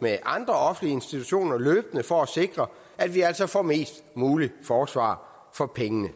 med andre offentlige institutioner løbende for at sikre at vi altså får mest muligt forsvar for pengene